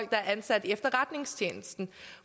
der er ansat i efterretningstjenesten